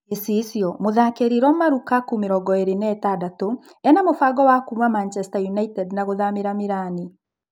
(Gicicio) Mũtharĩkĩri Roma Rukaku, mĩrongoĩrĩ na ĩtandatũ, ena-mũbango wa kuuma Macheta United na gũthamĩra Mĩrani.